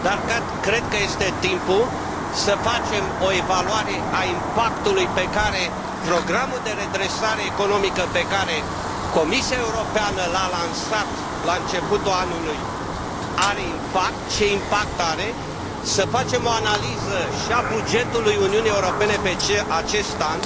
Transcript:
dar cred că este timpul să facem o evaluare a impactului pe care programul de redresare economică pe care Comisia Europeană l a lansat la începutul anului, dacă are impact, ce impact are, să facem o analiză și a bugetului Uniunii Europene pe acest an,